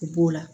U b'o la